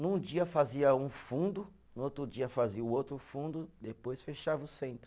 Num dia fazia um fundo, no outro dia fazia o outro fundo, depois fechava o centro.